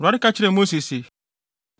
Awurade ka kyerɛɛ Mose se,